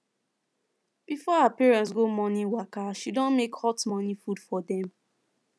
before her parents go morning waka she don make hot morning food for dem